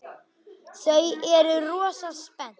Þau eru rosa spennt.